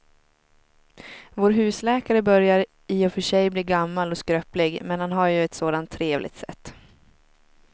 Vår husläkare börjar i och för sig bli gammal och skröplig, men han har ju ett sådant trevligt sätt!